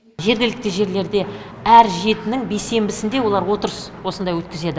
жергілікті жерлерде әр жетінің бейсенбісінде олар отырыс осындай өткізеді